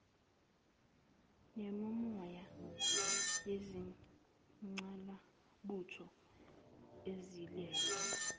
nemimoya yezingqalabutho ezilele